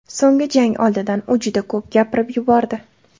So‘nggi jang oldidan u juda ko‘p gapirib yubordi.